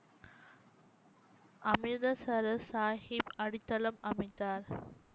அமிர்தசரஸ் சாஹிப் அடித்தளம் அமைத்தார்